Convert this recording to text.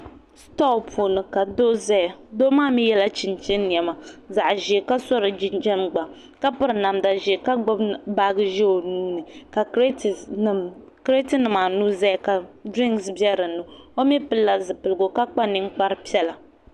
Sitoo puuni ka doo ʒɛya doo maa mii yɛla chinchin niɛma zaɣ ƶiɛ ka so di jinjɛm gba ka piri namda ʒiɛ ka gbubi baaji ʒiɛ o nuuni ka kirɛt nimaanu ʒɛya ka dirinks bɛ dinni o mii pilila zipiligu ka kpa ninkpari piɛla